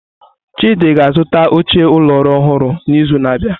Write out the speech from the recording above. Chidi ga-azụta oche ụlọ ọrụ ọhụrụ n'izu na-abịa.